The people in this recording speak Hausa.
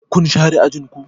Kun share ajin ku?